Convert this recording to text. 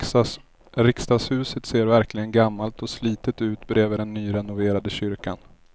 Riksdagshuset ser verkligen gammalt och slitet ut bredvid den nyrenoverade kyrkan.